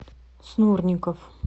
снурников